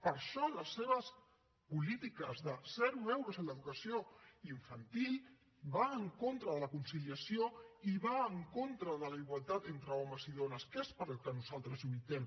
per això les seves polítiques de zero euros en l’educació infantil va en contra de la conciliació i va en contra de la igualtat entre homes i dones que és per al que nosaltres lluitem